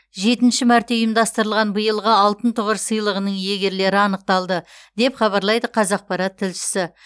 жетінші мәрте ұйымдастырылған биылғы алтын тұғыр сыйлығының иегерлері анықталды деп хабарлайды қазақпарат тілшісі